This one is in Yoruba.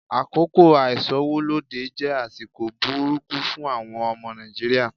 Àkókò àìsówólódé jẹ́ àsìkò burúkú fún àwọn ọmọ Nàìjíríà.